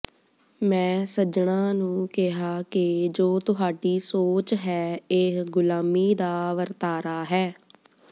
ਮੈਂ ਸੱਜਣਾਂ ਨੂੰ ਕਿਹਾ ਕਿ ਜੋ ਤੁਹਾਡੀ ਸੋਚ ਹੈ ਇਹ ਗੁਲਾਮੀ ਦਾ ਵਰਤਾਰਾ ਹੈ